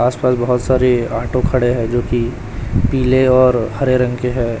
आस पास बहोत सारे ऑटो खड़े हैं जोकि पीले और हरे रंग के है।